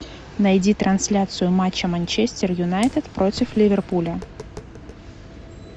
найди трансляцию матча манчестер юнайтед против ливерпуля